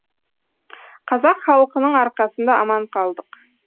қазақ халқының арқасында аман қалдық